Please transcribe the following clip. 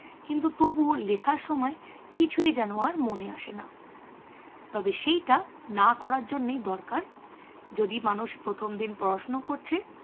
কিন্তু তবুও লেখার সময় কিছুই যেন আর মনে আসে না। তবে সেইটা না করার জন্যেই দরকার যদি মানুষ প্রথম যেদিন পড়াশুনো করছে